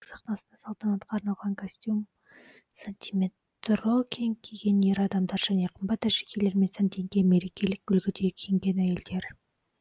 сахнасында салтанатқа арналған костюм сантиметрокинг киген ер адамдар және қымбат әшекейлермен сәнденген мерекелік үлгіде киінген әйелдер